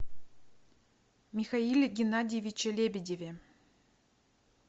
михаиле геннадьевиче лебедеве